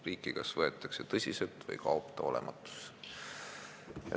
Riiki kas võetakse tõsiselt või ta kaob olematusse.